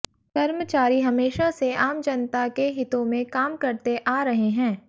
कर्मचारी हमेशा से आम जनता के हितों में काम करते आ रहे हैं